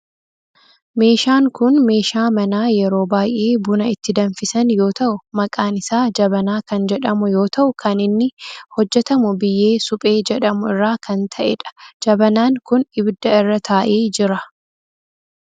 Meeshaan kun meeshaa manaa yeroo baayyee buna itti danfisan yoo ta'u maqaan isaa jabanaa kan jedhamu yoo ta'u kan inni hojjetamu biyyee suphee jedhamu irraa kan ta'edha. Jabanaan kun ibidda irra taa'ee jira.